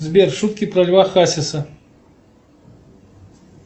сбер шутки про льва хасиса